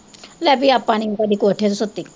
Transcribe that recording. ਲੈ ਵੀ ਆਪਾਂ ਨੀ ਕਦੇ ਕੋਠੇ ਤੇ ਸੁੱਤੇ